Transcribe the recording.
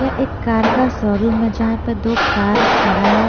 यह एक कार का शोरूम है यहां पे दो कार खड़ा है।